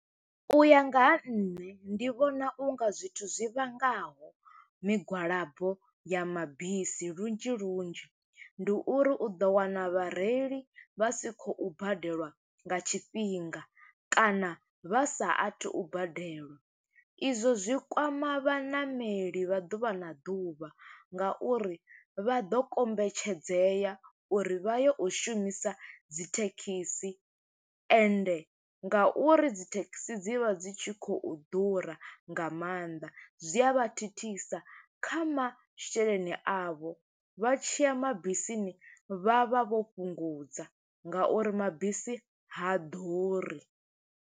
U ya nga ha nṋe ndi vhona u nga zwithu zwi vhangaho migwalabo ya mabisi lunzhi lunzhi, ndi uri u ḓo wana vhareili vha si khou badeliwa nga tshifhinga, kana vha sa athu u badelwa. I zwo zwi kwama vhaṋameli vha ḓuvha na ḓuvha, nga uri vha ḓo kombetshedzea uri vha ye u shumisa dzi thekhisi, ende nga uri dzi thekhisi dzi vha dzi tshi khou ḓura nga maanḓa, zwi a vha thithisa kha masheleni a vho. Vha tshiya mabisini vha vha vho fhungudza, nga uri mabisi ha ḓuri.